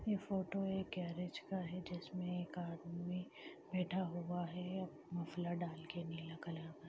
ये फोटो एक गैरेज का हैं जिसमें एक आदमी बैठा हुआ हैं मफलर डाल के नीला कलर का--